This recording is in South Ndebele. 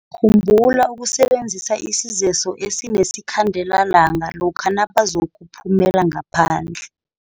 Khumbula ukusebenzisa isezeso esinesikhandelalanga lokha nabazokuphumela ngaphandle.